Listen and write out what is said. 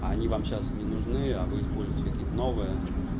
а они вам сейчас не нужны а вы используете какие-то новые